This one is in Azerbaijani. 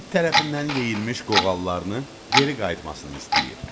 İt tərəfindən yeyilmiş qoğallarını geri qayıtmasını istəyir.